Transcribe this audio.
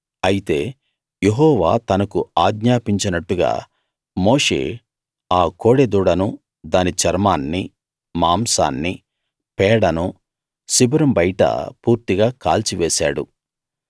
అయితే యెహోవా తనకు ఆజ్ఞాపించినట్టుగా మోషే ఆ కోడె దూడనూ దాని చర్మాన్నీ మాంసాన్నీ పేడనూ శిబిరం బయట పూర్తిగా కాల్చివేశాడు